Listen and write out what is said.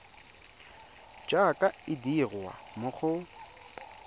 jaaka e dirwa mo go